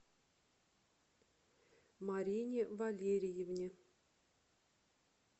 марине валериевне